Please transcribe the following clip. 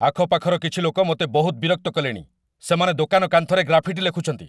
ଆଖପାଖର କିଛି ଲୋକ ମୋତେ ବହୁତ ବିରକ୍ତ କଲେଣି, ସେମାନେ ଦୋକାନ କାନ୍ଥରେ ଗ୍ରାଫିଟି ଲେଖୁଛନ୍ତି।